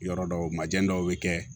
Yɔrɔ dɔw ma jɛn dɔw be kɛ